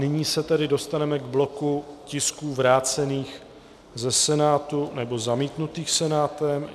Nyní se tedy dostaneme k bloku tisků vrácených ze Senátu nebo zamítnutých Senátem.